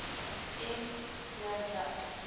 m j j